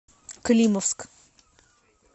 климовск